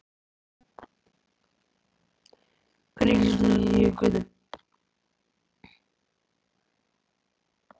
Hvernig er stemningin hjá Hvöt?